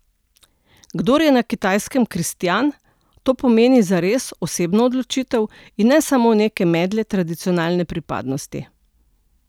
Kdor je na Kitajskem kristjan, to pomeni zares osebno odločitev in ne samo neke medle tradicionalne pripadnosti.